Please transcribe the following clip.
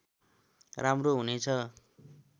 राम्रो हुने छ